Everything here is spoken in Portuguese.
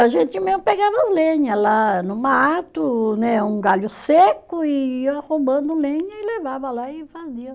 E a gente mesmo pegava as lenha lá no mato né, um galho seco e, ia roubando lenha e levava lá e fazia.